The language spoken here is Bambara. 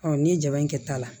n'i ye jaba in kɛ ta la